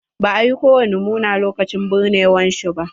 Ba a yi ko wani muena lokacin binnewar shi ba.